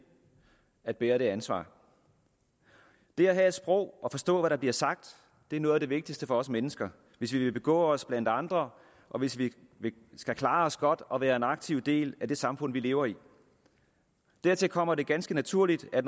at bære det ansvar det at have et sprog og forstå hvad der bliver sagt er noget af det vigtigste for os mennesker hvis vi vil begå os blandt andre og hvis vi skal klare os godt og være en aktiv del af det samfund vi lever i dertil kommer det ganske naturligt at